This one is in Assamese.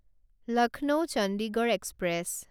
লক্ষ্ণৌ চণ্ডীগড় এক্সপ্ৰেছ